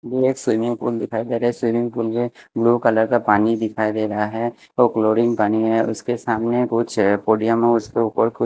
एक swimming pool दिखाई दे रहा है स्विमिंग पूल में ब्लू कलर का पानी दिखाई दे रहा है वो क्लोरिंग पानी है उसके सामने कुछ उसके ऊपर--